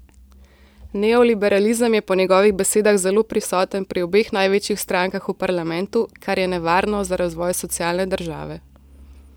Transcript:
Neoliberalizem je po njegovih besedah zelo prisoten pri obeh največjih strankah v parlamentu, kar je nevarno za razvoj socialne države.